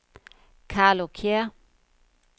Carlo Kjær